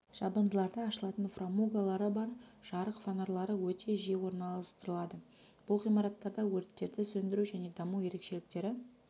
жабындыларда ашылатын фрамугалары бар жарық фонарлары өте жиі орналастырылады бұл ғимараттарда өрттерді сөндіру және даму ерекшеліктері